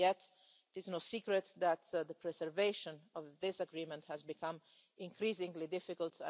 Yet it is no secret that the preservation of this agreement has become increasingly difficult.